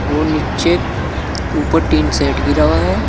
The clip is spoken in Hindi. वो नीचे ऊपर टिन शेड घिरा हुआ है।